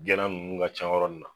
Jala nunnu ka ca nin na